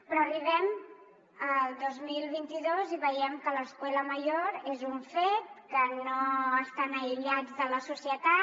però arribem al dos mil vint dos i veiem que l’escuela mayor és un fet que no està aïllat de la societat